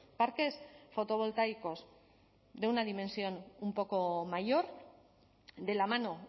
parques fotovoltaicos de una dimensión un poco mayor de la mano